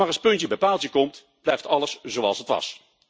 Maar als puntje bij paaltje komt, blijft alles zoals het was.